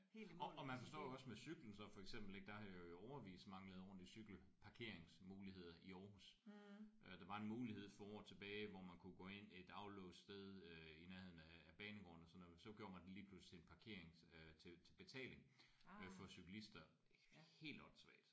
Og og man forstår jo også med cyklen så for eksempelvis ik der har jo i årevis manglet ordentlige cykelparkeringsmuligheder i Aarhus. Øh der var en mulighed for år tilbage hvor man kunne gå ind et aflåst sted øh i nærheden af banegården og sådan noget men så gjorde man den lige pludselig parkerings øh til betaling for cykelister. Helt åndssvagt!